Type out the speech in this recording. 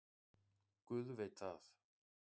Guð veit það.